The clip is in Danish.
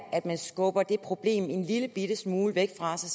at man skubber det problem har en lillebitte smule væk fra sig